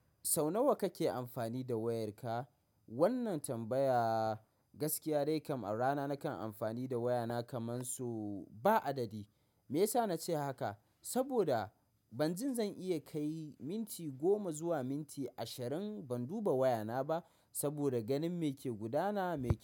Sau nawa kake amfani da wayarka? Wannan tambaya gaskiya dai kam a rana nakan amfani da wayana kamar so ba adadi. Me yasa na ce haka? Saboda ban jin zan iya kai minti goma zuwa minti ashirin ban duba wayana ba, saboda ganin me ke gudana mai.